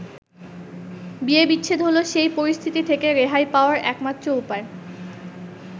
বিয়ে-বিচ্ছেদ হলো সেই পরিস্থিতি থেকে রেহাই পাওয়ার একমাত্র উপায়।